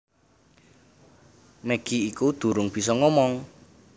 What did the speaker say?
Maggie iku durung bisa ngomong